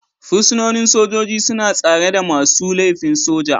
Fursunonin sojoji suna tsare da masu laifin soja